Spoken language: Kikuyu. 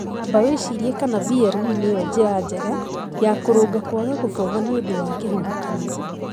Amba wĩcirie kana VLE nĩyo njĩra njega ya kũrũnga kwaga gũthoma nĩ ũndũ wa kĩhuhũkanio